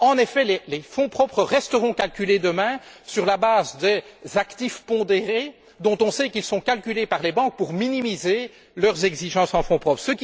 En effet, les fonds propres resteront calculés demain sur la base des actifs pondérés, dont on sait qu'ils sont calculés par les banques pour minimiser leurs exigences en fonds propres.